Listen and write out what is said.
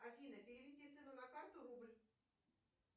афина перевести сыну на карту рубль